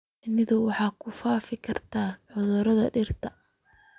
Shinnidu waxay ku faafi kartaa cudurrada dhirta.